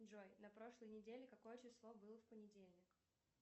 джой на прошлой неделе какое число было в понедельник